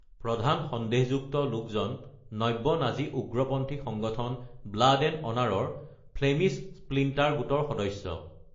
প্ৰধান সন্দেহযুক্ত লোকজন নব্য নাজী উগ্ৰপন্থী সংগঠন ব্লাড এণ্ড অনাৰৰ ফ্লেমিছ স্প্লিণ্টাৰ গোটৰ সদস্য।